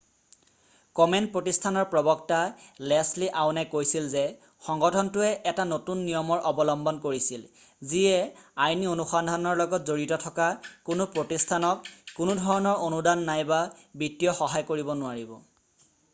কমেন প্ৰতিষ্ঠানৰ প্ৰবক্তা লেচলি আউনে কৈছিল যে সংগঠনটোৱে এটা নতুন নিয়মৰ অৱলম্বন কৰিছিল যিয়ে আইনী অনুসন্ধানৰ লগত জড়িত থকা কোনো প্ৰতিষ্ঠানক কোনোধৰণৰ অনুদান নাইবা বিত্তীয় সহায় কৰিব নোৱাৰিব